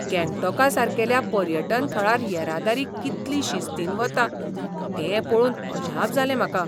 गँगटॉका सारकेल्या पर्यटन थळार येरादारी कितली शिस्तीन वता तें पळोवन अजाप जालें म्हाका.